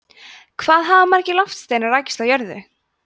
hvað hafa margir loftsteinar rekist á jörðu